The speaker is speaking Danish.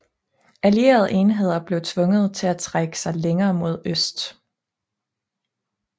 Allierede enheder blev tvunget til at trække sig længere mod øst